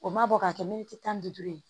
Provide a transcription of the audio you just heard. O ma bɔ ka kɛ miniti tan ni duuru ye